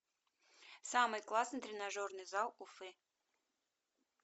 самый классный тренажерный зал уфы